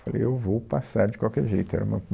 Eu falei, eu vou passar de qualquer jeito, era uma